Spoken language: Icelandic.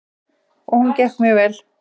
Jú, og hún gekk mjög vel.